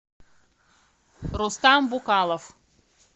рустам букалов